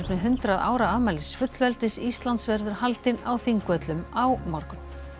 hundrað ára afmælis fullveldis Íslands verður haldinn á Þingvöllum á morgun